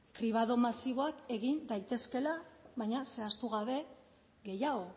kribado masiboak egin daitezkeela baina zehaztu gabe gehiago